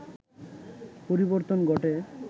পরিবর্তন ঘটে